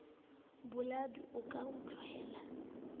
boladu o ke o tlohele